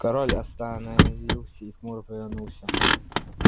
король остановился и хмуро повернулся